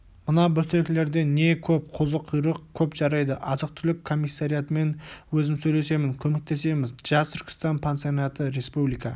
мына бөктерлерде не көп қозықұйрық көп жарайды азық-түлік комиссариатымен өзім сөйлесейін көмектесеміз жас түркістан пансионаты республика